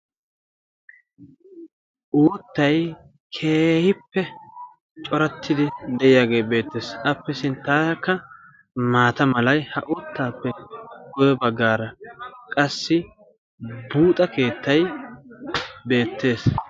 Uuttay keehippe corattidi de'iyaagee beettees. appi sinttaarakka maata malay ha uuttaappe guye baggaara qassi buuxa keettay beettees.